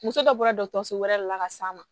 Muso dɔ bɔra dɔgɔtɔrɔso wɛrɛ de la ka s'a ma